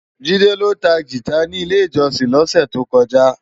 Jide ló tá gitá ni ilé-ijòsin lòsè tókòjá